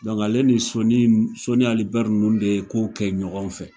ale ni Soni n Soni Ali Ber nun de ko kɛ ɲɔgɔn fɛ.